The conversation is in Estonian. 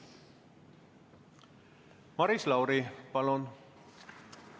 Maris Lauri, palun!